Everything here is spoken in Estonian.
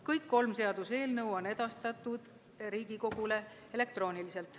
Kõik kolm seaduseelnõu on edastatud Riigikogule elektrooniliselt.